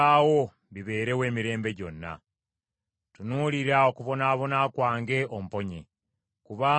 Tunuulira okubonaabona kwange omponye, kubanga seerabira mateeka go.